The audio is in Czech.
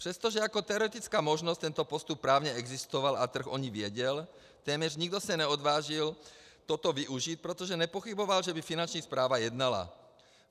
Přestože jako teoretická možnost tento postup právně existoval a trh o ní věděl, téměř nikdo se neodvážil toto využít, protože nepochyboval, že by Finanční správa jednala.